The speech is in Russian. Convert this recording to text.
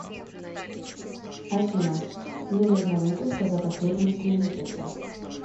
афина мне нужна выписка за последние три месяца